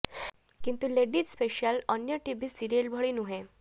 କିନ୍ତୁ ladies special ଅନ୍ୟ TV serial ଭଳି ନୁହଁ